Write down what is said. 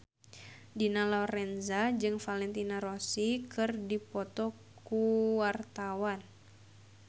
Dina Lorenza jeung Valentino Rossi keur dipoto ku wartawan